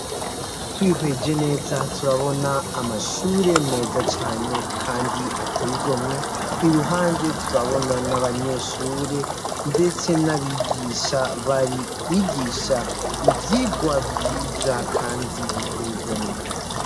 Twihweje neza turabona amashure meza cane, kandi ategomwe i ruhande turabona n'abanyeshure, ndetse n'abigisha bari kwigisha ivyigwa vyiza, kandi bitegomwe.